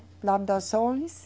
Plantações.